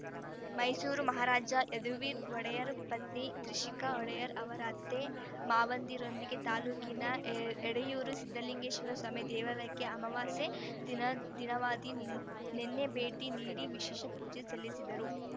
ಮೈಸೂರು ಮಹಾರಾಜ ಯದುವೀರ ಒಡೆಯರ್ ಪತ್ನಿ ತ್ರಿಷಿಕಾ ಒಡೆಯರ್ ಅವರ ಅತ್ತೆ ಮಾವಂದಿರೊಂದಿಗೆ ತಾಲ್ಲೂಕಿನ ಎ ಎಡೆಯೂರು ಸಿದ್ಧಲಿಂಗೇಶ್ವರ ಸ್ವಾಮಿ ದೇವಾಲಯಕ್ಕೆ ಅಮವಾಸ್ಯೆ ದಿನ ದಿನವಾದಿ ನಿ ನೆನ್ನೆ ಭೇಟಿ ನೀಡಿ ವಿಶೇಷ ಪೂಜೆ ಸಲ್ಲಿಸಿದರು